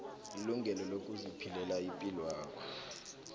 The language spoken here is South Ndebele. ilungelo lokuziphilela ipilwakho